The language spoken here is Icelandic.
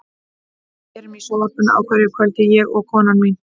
Við erum í sjónvarpinu á hverju kvöldi, ég og konan mín.